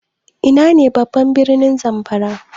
Ina ne ne babban birnin Zamfara?